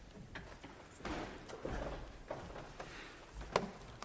tak og